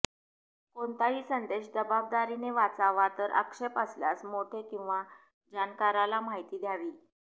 कोणताही संदेश जबादारीने वाचवा तर आक्षेप असल्यास मोठे किंवा जाणकाराला माहिती द्यावी